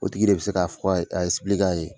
O tigi de bi se k'a fɔ a k'a ye